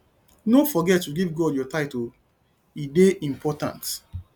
no forget to give god your offering o e dey important